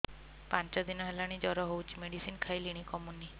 ପାଞ୍ଚ ଦିନ ହେଲାଣି ଜର ହଉଚି ମେଡିସିନ ଖାଇଲିଣି କମୁନି